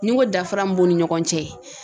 Ni ko dafara min b'u ni ɲɔgɔn cɛ.